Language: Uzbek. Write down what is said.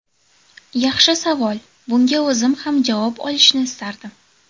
Yaxshi savol, bunga o‘zim ham javob olishni istardim.